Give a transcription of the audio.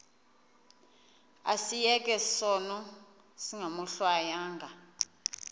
asiyeke sono smgohlwaywanga